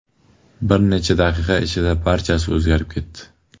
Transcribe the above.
Bir necha daqiqa ichida barchasi o‘zgarib ketdi.